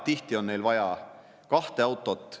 Tihti on neil vaja kahte autot.